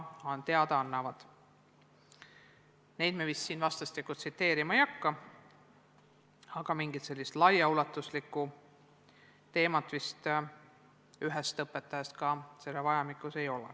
Neid asju me siin vist vastastikku tsiteerima ei hakka, aga mingit sellist laiaulatuslikku teemat selle ühe õpetaja koolitusest ka selles vahemikus tekkinud ei ole.